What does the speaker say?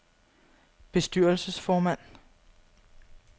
bestyrelsesformand